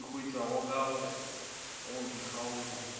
e hwetšwago ka go dikgaolo